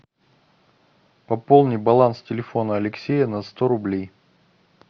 пополни баланс телефона алексея на сто рублей